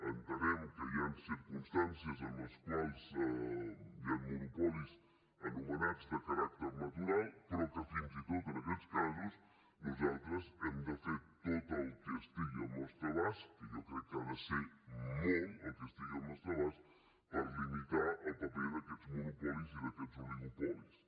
entenem que hi han circumstàncies en les quals hi han monopolis anomenats de caràcter natural però que fins i tot en aquests casos nosaltres hem de fer tot el que estigui al nostre abast que jo crec que ha de ser molt el que estigui al nostre abast per limitar el paper d’aquests monopolis i d’aquests oligopolis